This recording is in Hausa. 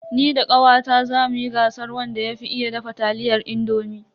Ni da kawata zamu yi gasar wanda ya fi iya dafa taliyar indomi.